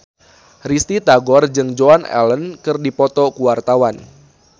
Risty Tagor jeung Joan Allen keur dipoto ku wartawan